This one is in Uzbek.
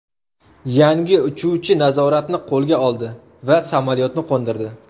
Yangi uchuvchi nazoratni qo‘lga oldi va samolyotni qo‘ndirdi.